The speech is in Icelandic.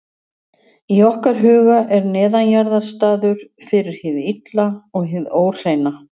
Í okkar huga er neðanjarðar staður fyrir hið illa og hið óhreina.